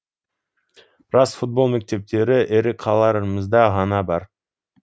рас футбол мектептері ірі қалаларымызда ғана бар